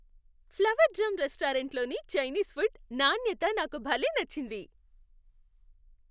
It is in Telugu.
ఫ్లవర్ డ్రమ్ రెస్టారెంట్లోని చైనీస్ ఫుడ్ నాణ్యత నాకు భలే నచ్చింది.